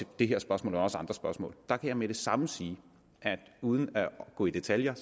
det her spørgsmål og også andre spørgsmål der kan jeg med det samme sige at jeg uden at gå i detaljer